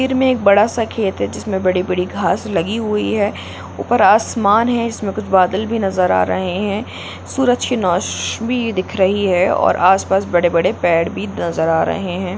तस्वीर में एक बड़ा सा खेत है जिसमें बड़ी-बड़ी घास लगी हुई है ऊपर आसमान है जिसमें कुछ बादल भी नजर आ रहे है सूरज की नौश--बी दिख रही है और आस-पास बड़े- बड़े पेड़ भी नजर आ रहे हैं।